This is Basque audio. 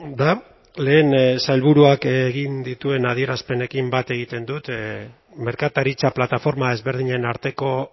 da lehen sailburuak egin dituen adierazpenekin bat egiten dut merkataritza plataforma ezberdinen arteko